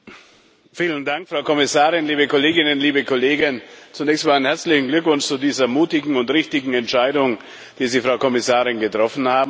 Frau Präsidentin, Frau Kommissarin, liebe Kolleginnen, liebe Kollegen! Zunächst meinen herzlichen Glückwunsch zu dieser mutigen und richtigen Entscheidung, die Sie, Frau Kommissarin, getroffen haben.